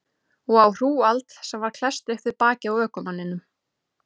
Og á hrúgald sem var klesst upp við bakið á ökumanninum.